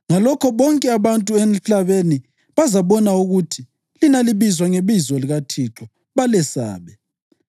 Ngalokho bonke abantu emhlabeni bazabona ukuthi lina libizwa ngebizo likaThixo, balesabe.